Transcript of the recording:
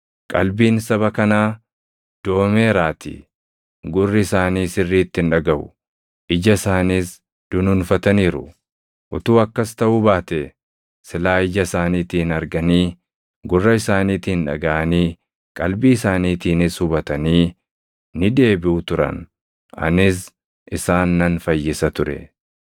Qalbiin saba kanaa doomeeraatii; gurri isaanii sirriitti hin dhagaʼu; ija isaaniis dunuunfataniiru; utuu akkas taʼuu baatee silaa ija isaaniitiin arganii, gurra isaaniitiin dhagaʼanii, qalbii isaaniitiinis hubatanii, ni deebiʼu turan; anis isaan nan fayyisa ture.’ + 28:27 \+xt Isa 6:9,10\+xt*